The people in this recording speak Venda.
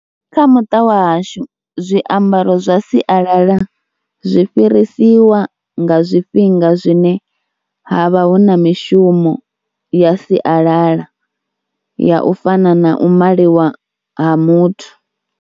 Kha muṱa wa hashu zwiambaro zwa sialala zwi fhirisiwa nga zwifhinga zwine ha vha hu na mishumo ya sialala ya u fana na u maliwa ha muthu.